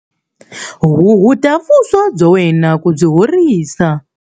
Huhuta vuswa bya wena ku byi horisa